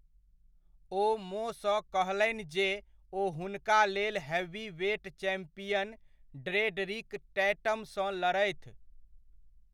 ओ मोसँ कहलनि जे ओ हुनका लेल हैवीवेट चैम्पियन ड्रेडरिक टैटमसँ लड़थि।